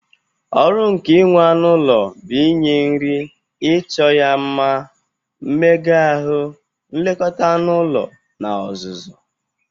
Ọrụ nke inwe anụ ụlọ but inye nri, icho ya nma, mmega ahụ, nlekọta anụ ụlọ, na ọzụzụ.